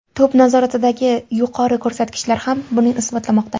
To‘p nazoratidagi yuqori ko‘rsatkichlar ham buni isbotlamoqda.